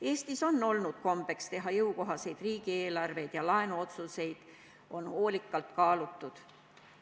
Eestis on olnud kombeks teha jõukohaseid riigieelarveid ja laenuotsuseid on hoolikalt kaalutud.